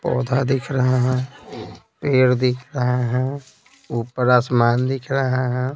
पौधा दिख रहा है पेड़ दिख रहा है ऊपर आसमान दिख रहा है।